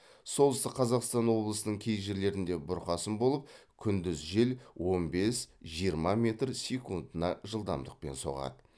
солтүстік қазақстан облысының кей жерлерінде бұрқасын болып күндіз жел он бес жиырма метр секундына жылдамдықпен соғады